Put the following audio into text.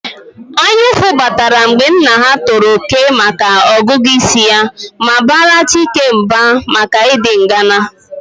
Anyaụfụ batara mgbe nna ha tọrọ Okey maka ọgụgụ isi ya ma bara Chike mba maka ịdị ngana